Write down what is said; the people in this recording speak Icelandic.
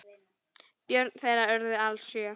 Börn þeirra urðu alls sjö.